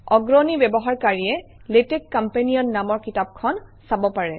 অগ্ৰণী ব্যৱহাৰকাৰীয়ে LaTeX Companion নামৰ কিতাপখন চাব পাৰে